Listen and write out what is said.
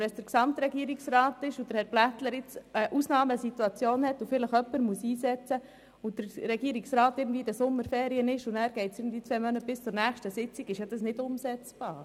Wenn der Polizeikommandant vor einer Ausnahmesituation steht und jemanden einsetzten muss und der Regierungsrat in den Sommerferien weilt, ist das jedoch nicht umsetzbar.